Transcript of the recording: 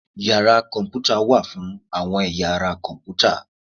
Yara kọnputa wa fún awọn eyá ará tí Kọǹpútà.